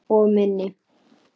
Og minni.